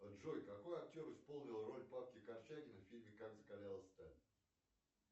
джой какой актер исполнил роль павла корчагина в фильме как закалялась сталь